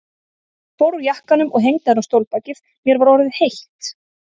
Ég fór úr jakkanum og hengdi hann á stólbakið, mér var orðið heitt.